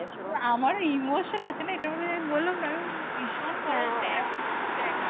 আমারও emotion আছে না এটার মধ্যে আমি বললাম না আমি ভীষণ বড়ো fan actually